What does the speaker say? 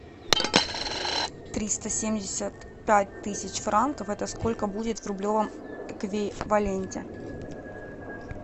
триста семьдесят пять тысяч франков это сколько будет в рублевом эквиваленте